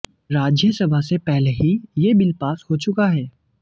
राज्यसभा से पहले ही ये बिल पास हो चुका है